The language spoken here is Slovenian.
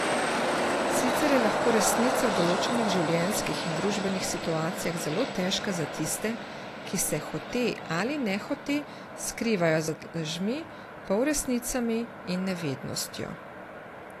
Sicer je lahko resnica v določenih življenjskih in družbenih situacijah zelo težka za tiste, ki se hote ali nehote skrivajo za lažmi, polresnicami in nevednostjo.